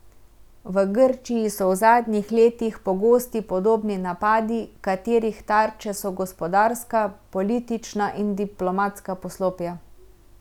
V Grčiji so v zadnjih letih pogosti podobni napadi, katerih tarče so gospodarska, politična in diplomatska poslopja.